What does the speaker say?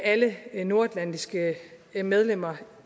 alle nordatlantiske medlemmer